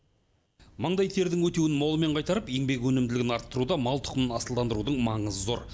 маңдай тердің өтеуін молымен қайтарып еңбек өнімділігін арттыруда мал тұқымын асылдандырудың маңызы зор